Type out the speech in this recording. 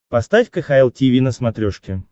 поставь кхл тиви на смотрешке